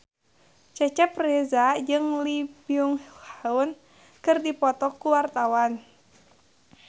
Cecep Reza jeung Lee Byung Hun keur dipoto ku wartawan